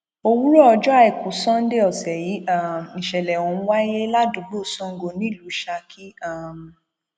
òwúrọ ọjọ àìkú sannde ọsẹ yìí um nìṣẹlẹ ọhún wáyé ládùúgbò sango nílùú saki um